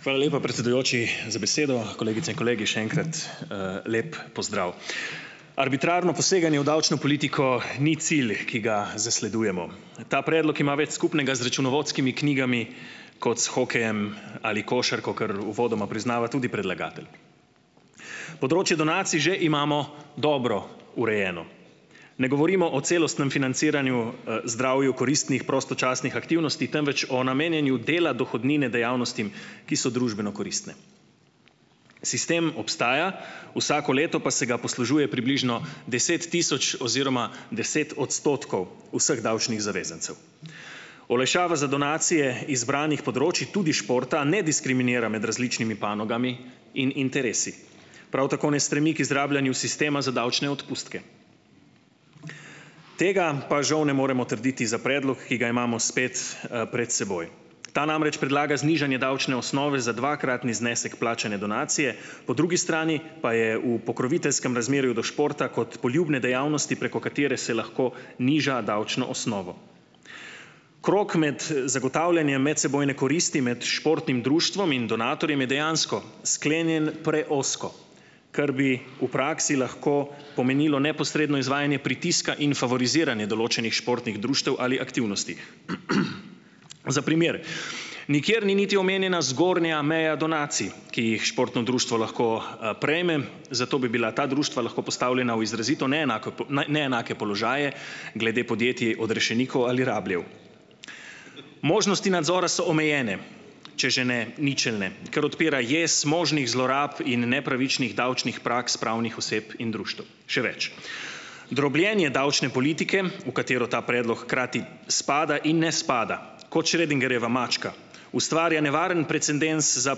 Hvala lepa, predsedujoči, za besedo. Kolegice in kolegi, še enkrat, lep pozdrav. Arbitrarno poseganje v davčno politiko ni cilj, ki ga zasledujemo. Ta predlog ima več skupnega z računovodskimi knjigami kot s hokejem ali košarko, kar uvodoma priznava tudi predlagatelj. Področje donacij že imamo dobro urejeno. Ne govorimo o celostnem financiranju, zdravju koristnih, prostočasnih aktivnosti, temveč o namenjanju dela dohodnine dejavnostim, ki so družbeno koristne. Sistem obstaja, vsako leto pa se ga poslužuje približno deset tisoč oziroma deset odstotkov vseh davčnih zavezancev. Olajšava za donacije izbranih področij, tudi športa ne diskriminira med različnimi panogami in interesi, prav tako ne stremi k izrabljanju sistema za davčne odpustke. Tega pa žal ne moremo trditi za predlog, ki ga imamo spet, pred seboj. Ta namreč predlaga znižanje davčne osnove za dvakratni znesek plačane donacije, po drugi strani pa je v pokroviteljskem razmerju do športa kot poljubne dejavnosti, preko katere se lahko niža davčno osnovo. Krog med, zagotavljanjem medsebojne koristi med športnim društvom in donatorjem je dejansko sklenjen preozko, kar bi v praksi lahko pomenilo neposredno izvajanje pritiska in favoriziranje določenih športnih društev ali aktivnosti. Za primer, nikjer ni niti omenjena zgornja meja donacij, ki jih športno društvo lahko, prejme, zato bi bila ta društva lahko postavljena v izrazito neenako neenake položaje glede podjetij odrešenikov ali rabljev. Možnosti nadzora so omejene, če že ne ničelne, ker odpira jez možnih zlorab in nepravičnih davčnih praks pravnih oseb in društev, še več. Drobljenje davčne politike, v katero ta predlog hkrati spada in ne spada, kot Schrödingerjeva mačka, ustvarja nevaren precedens za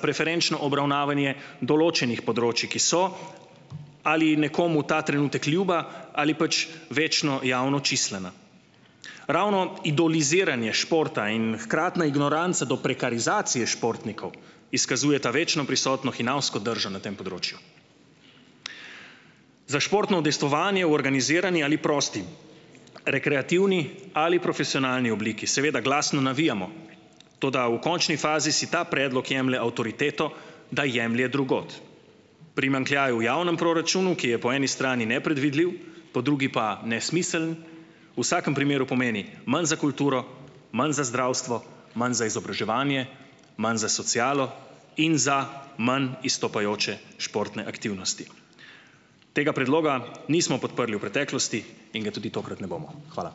preferenčno obravnavanje določenih področij, ki so ali nekomu ta trenutek ljuba ali pač večno javno čislana. Ravno idoliziranje športa in hkratna ignoranca do prekarizacije športnikov izkazujeta večno prisotno hinavsko držo na tem področju. Za športno udejstvovanje v organizirani ali prosti, rekreativni ali profesionalni obliki seveda glasno navijamo, toda v končni fazi si ta predlog jemlje avtoriteto, da jemlje drugod. Primanjkljaj v javnem proračunu, ki je po eni strani nepredvidljiv, po drugi pa nesmiseln, vsakem primeru pomeni manj za kulturo, manj za zdravstvo, manj za izobraževanje, manj za socialo in za manj izstopajoče športne aktivnosti. Tega predloga nismo podprli v preteklosti in ga tudi tokrat ne bomo. Hvala.